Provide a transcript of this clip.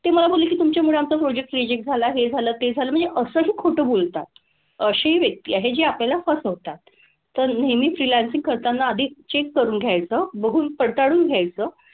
ते मला बोलले की तुमच्यामुळे आमचं project reject झालं, हे झालं, ते झालं. म्हणजे असंही खोटं बोलतात. अशी व्यक्ती आहे जी आपल्याला फसवतात. तर नेहमी freelancing करताना आधी check करून घ्यायचं, बघून, पडताळून घ्यायचं,